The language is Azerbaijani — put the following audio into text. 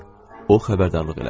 O xəbərdarlıq elədi.